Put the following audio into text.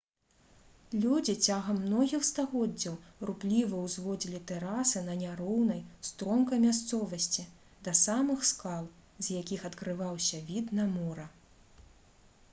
людзі цягам многіх стагоддзяў рупліва ўзводзілі тэрасы на няроўнай стромкай мясцовасці да самых скал з якіх адкрываўся від на мора